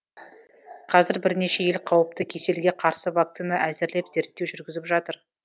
қазір бірнеше ел қауіпті кеселге қарсы вакцина әзірлеп зерттеу жүргізіп жатыр